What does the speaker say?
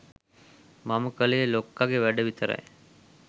මම කලේ ලොක්කගෙ වැඩ විතරයි